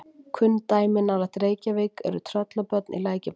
kunn dæmi nálægt reykjavík eru tröllabörn í lækjarbotnum